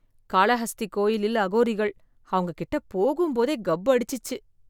காளகஸ்தி கோயிலில் அகோரிகள் அவங்க கிட்ட போகும் போதே கப் அடிச்சுச்சு.